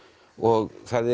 og það